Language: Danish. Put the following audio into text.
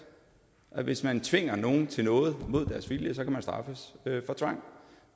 at hvis man tvinger nogen til noget mod deres vilje så kan man straffes for tvang